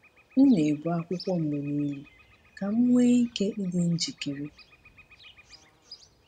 M na-ebu akwụkwọ mgbe niile ka m nwee ike ịdị njikere.